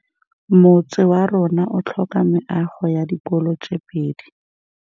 Motse warona o tlhoka meago ya dikolô tse pedi.